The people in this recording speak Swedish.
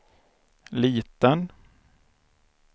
liten